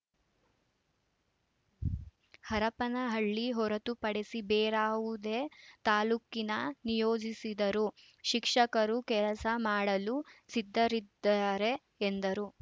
ಹರಪನಹಳ್ಳಿ ಹೊರತುಪಡಿಸಿ ಬೇರಾವುದೇ ತಾಲೂಕಿಗೆ ನಿಯೋಜಿಸಿದರೂ ಶಿಕ್ಷಕರು ಕೆಲಸ ಮಾಡಲು ಸಿದ್ಧರಿದ್ದಾರೆ ಎಂದರು